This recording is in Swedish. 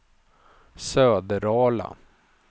Söderala